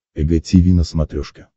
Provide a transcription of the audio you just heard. эг тиви на смотрешке